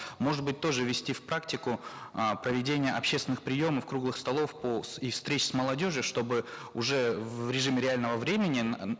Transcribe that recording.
может быть тоже ввести в практику э проведение общественных приемов круглых столов по и встреч с молодежью чтобы уже в режиме реального времени